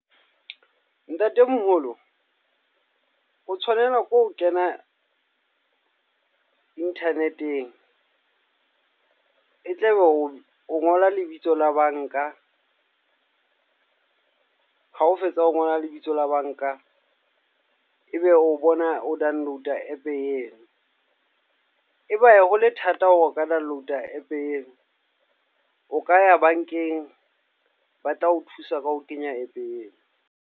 Ntatemoholo, o tshwanela ke ho kena internet-eng. E tla be o ngola lebitso la banka. Ha o fetsa ho ngola lebitso la banka. E be o bona download app eo. E ba ye hole thata hore o ka download a app eo, o ka ya bankeng ba tla ho thusa ka ho kenya app eo.